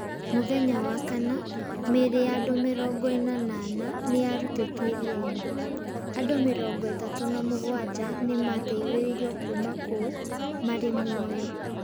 Mũthenya wa Wakana, mĩĩrĩ ya andũ mĩrongo ĩna na ana nĩ yarutetwo iria-inĩ. Andũ mĩrongo ĩtatu na mũgwanja nĩ maateithĩrĩirio kuuma kuo marĩ muoyo.